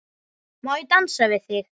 Má ég dansa við þig?